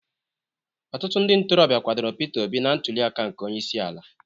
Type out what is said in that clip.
Ọtụtụ ndị ntorobịa kwadoro Pita Obi na ntulịaka nke Onyeisiala.